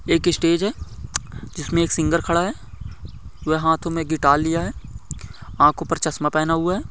एक स्टेज है जिसमे एक सिंगर खड़ा है वे हातो मे गिटार लिया है आखों पर चश्मा पेहना हुआ है।